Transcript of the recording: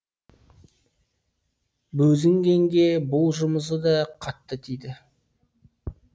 бозінгенге бұл жұмысы да қатты тиді